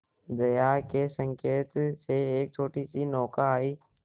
जया के संकेत से एक छोटीसी नौका आई